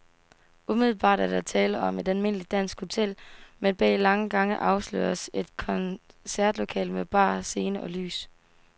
Umiddelbart er der tale om et almindeligt dansk hotel, men bag lange gange afsløres et koncertlokale med bar, scene og lys.